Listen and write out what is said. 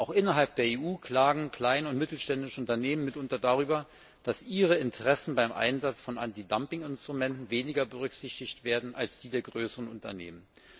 Auch innerhalb der EU klagen kleine und mittelständische Unternehmen mitunter darüber, dass ihre Interessen beim Einsatz von Antidumping Instrumenten weniger berücksichtigt werden als die der größeren Unternehmen.